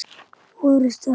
orrustu háði neina.